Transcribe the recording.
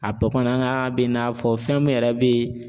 A bamanankan bɛn'a fɔ fɛn min yɛrɛ be yen